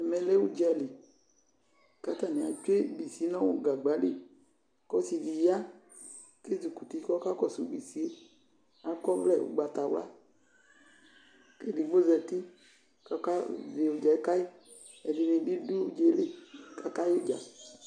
Ɛmɛ lɛ udzali katani etsue bisi nu gagbali Kɔsidi ya ezi kuti kɔkakɔsu bisiyɛ, kakɔvlɛ ugbatawla Kedigbo zati kɔkazɔ udza yɛ kayi Ɛdinibi du udzayeli kakaudza